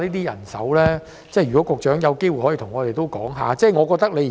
如果局長有機會，可以向我們講解一下。